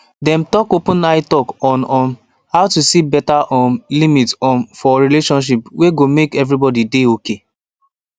dem talk open eye talk on um how to set better um limit um for relationship wey go make everybody dey okay